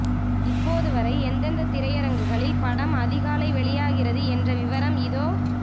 இப்போது வரை எந்தெந்த திரையரங்குகளில் படம் அதிகாலை வெளியாகிறது என்ற விவரம் இதோ